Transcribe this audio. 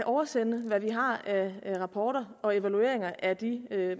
oversende hvad vi har af rapporter og evalueringer af de